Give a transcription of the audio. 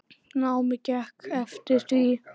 Námið gekk eftir því.